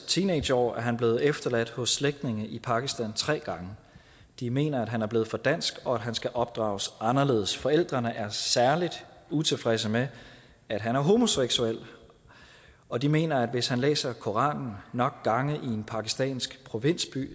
teenageår er han blevet efterladt hos slægtninge i pakistan tre gange de mener at han er blevet for dansk og at han skal opdrages anderledes forældrene er særlig utilfredse med at han er homoseksuel og de mener at hvis han læser koranen nok gange i en pakistansk provinsby